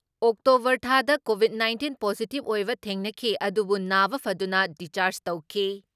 October ꯊꯥꯗ covid nineteen positive ꯑꯣꯏꯕ ꯊꯦꯡꯅꯈꯤ ꯑꯗꯨꯕꯨ ꯅꯥꯕ ꯐꯗꯨꯅ ꯗꯤꯆꯥꯔꯖ ꯇꯧꯈꯤ ꯫